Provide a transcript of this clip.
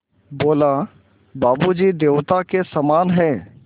बोला बाबू जी देवता के समान हैं